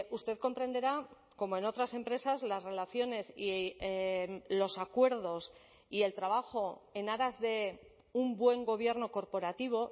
usted comprenderá como en otras empresas las relaciones y los acuerdos y el trabajo en aras de un buen gobierno corporativo